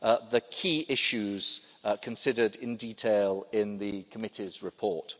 to the key issues considered in detail in the committee's report.